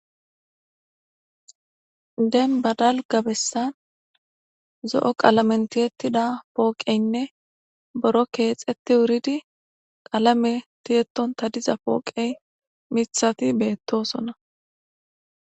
Denbadal gabessan zo'o qalamen tiyettida pooqeynne boro keexetti wuridi qalame tiyetton tadiza pooqey mithati beettosona.